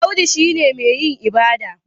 Audu shi ne mai yin ibada